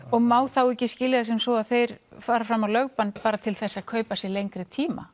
og má þá ekki skilja það sem svo að þeir fari fram á lögbann til að kaupa sér lengri tíma